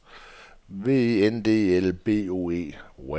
W E N D E L B O E